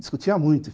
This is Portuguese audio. Discutia muito.